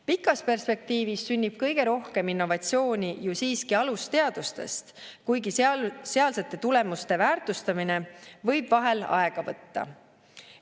Pikas perspektiivis sünnib kõige rohkem innovatsiooni ju siiski alusteadustest, kuigi sealsete tulemuste väärtustamine võib vahel aega võtta.